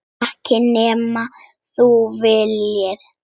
Ekki nema þú viljir það.